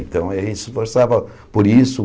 Então, eh ele se esforçava por isso.